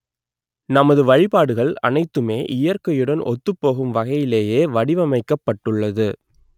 நமது வழிபாடுகள் அனைத்துமே இயற்கையுடன் ஒத்துப்போகும் வகையிலேயே வடிவமைக்கப்பட்டுள்ளது